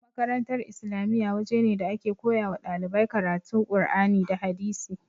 Makarantar islamiya waje ne da ake koyawa ɗalibai karatu qur'ani da hadisi